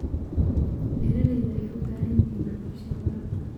Beeralayda waxay u baahan yihiin waxbarashada waraabka.